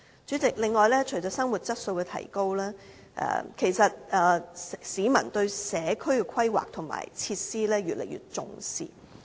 主席，除了提高生活質素，其實市民對社區規劃和設施越來越重視。